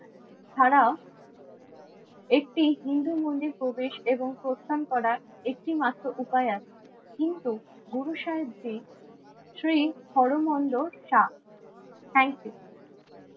ছাড়াও একটি হিন্দু মন্দির প্রবেশ এবং প্রস্থান করার একটি মাত্র উপায় আছে। কিন্তু গুরু সাহেবজি শ্রী হর মন্দির শাহ। Thank you.